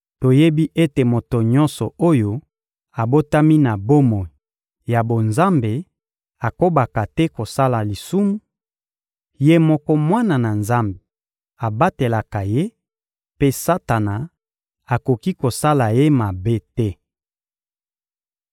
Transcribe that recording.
Toyebi ete moto nyonso oyo abotami na bomoi ya bonzambe akobaka te kosala lisumu; Ye moko Mwana na Nzambe abatelaka ye, mpe Satana akoki kosala ye mabe te.